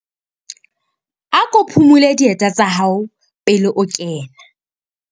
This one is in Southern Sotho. Ako phumule dieta tsa hao pele o kena.